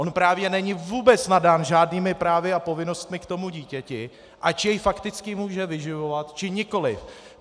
On právě není vůbec nadán žádnými právy a povinnostmi k tomu dítěti, ač jej fakticky může vyživovat, či nikoliv.